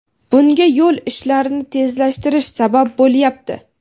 Bunga yo‘l ishlarini tezlashtirish sabab bo‘lyapti.